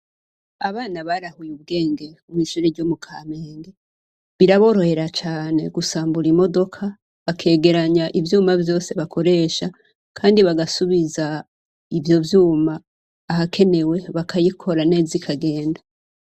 Abana barahuye ubwenge kw'ishure ryo mu Kamenge, biraborohera cane gusambura imodoka, bakegeranya ivyuma vyose bakoresha, Kandi bagasubiza ivyo vyuma ahakenewe bakayikora neza ikagenda.